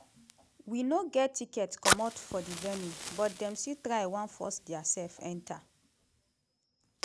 wey no get ticket comot for di venue but dem still try wan force diasef enta.